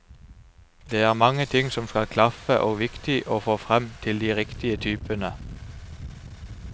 Det er mange ting som skal klaffe og viktig å få frem til de riktige typene.